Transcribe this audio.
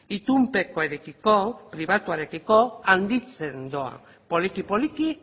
itunpekoarekiko pribatuarekiko handitzen doa poliki poliki